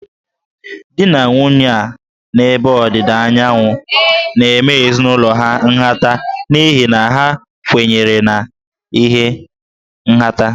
Di na nwunye a n'ebe Ọdịda Anyanwụ na-eme ezinụlọ ha nhata n'ihi na ha kwenyere na nha nhata